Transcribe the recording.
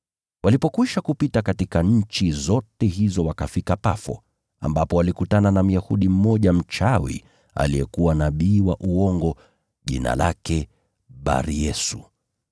Walipokwisha kupita katika nchi zote hizo wakafika Pafo, ambapo walikutana na Myahudi mmoja mchawi aliyekuwa nabii wa uongo, jina lake Bar-Yesu.